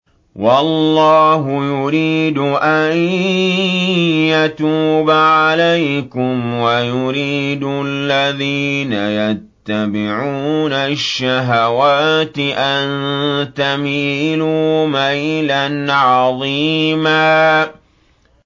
وَاللَّهُ يُرِيدُ أَن يَتُوبَ عَلَيْكُمْ وَيُرِيدُ الَّذِينَ يَتَّبِعُونَ الشَّهَوَاتِ أَن تَمِيلُوا مَيْلًا عَظِيمًا